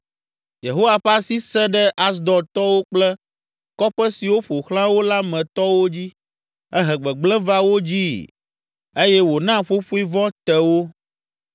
Yehowa ƒe asi sẽ ɖe Asdodtɔwo kple kɔƒe siwo ƒo xlã wo la me tɔwo dzi, ehe gbegblẽ va wo dzii eye wòna ƒoƒoe vɔ̃ te wo.